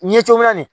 Ɲɛ cogomin na nin